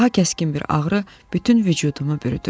Daha kəskin bir ağrı bütün vücudumu bürüdü.